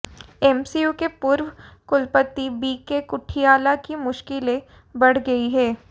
MCU के पूर्व कुलपति बीके कुठियाला की मुश्किलें बढ़ गईं हैं